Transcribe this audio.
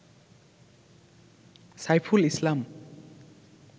Saiful Islam